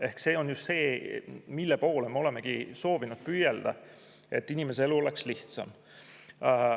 Ehk see on just see, mille poole me olemegi soovinud püüelda: et inimese elu oleks lihtsam.